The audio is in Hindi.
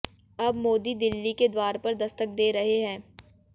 अब मोदी दिल्ली के द्वार पर दस्तक दे रहे हैं